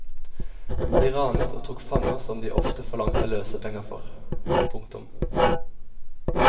De ranet og tok fanger som de ofte forlangte løsepenger for. punktum